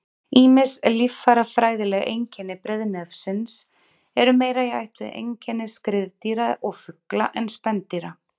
Ýmis líffærafræðileg einkenni breiðnefsins eru meira í ætt við einkenni skriðdýra og fugla en spendýra.